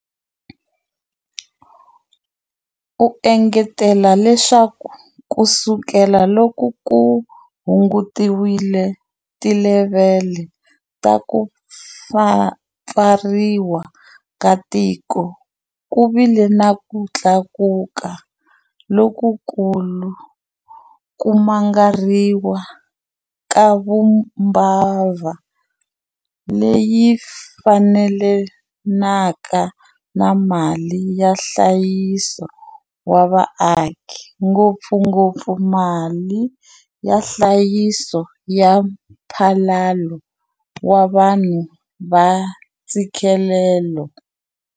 U engetela leswaku kusukela loko ku hungutiwile tilevhele ta ku pfariwa ka tiko, ku vile na ku tlakuka lokukulu ka ku mangariwa ka vumbabva lebyi fambelanaka na mali ya nhlayiso wa vaaki, ngopfungopfu mali ya nhlayiso ya Mphalalo wa Vanhu wa Ntshikelelo.